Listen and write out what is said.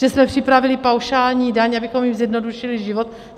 Že jsme připravili paušální daň, abychom jim zjednodušili život?